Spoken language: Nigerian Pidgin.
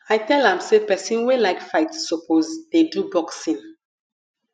i tell am sey pesin wey like fight suppose dey do boxing